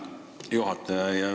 Hea juhataja!